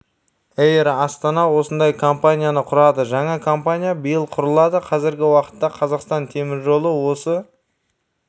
эйр астана осындай компанияны құрады жаңа компания биыл құрылады қазіргі уақытта қазақстан темір жолы осы